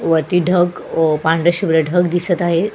वरती ढग व पांढरशुभ्र ढग दिसत आहे.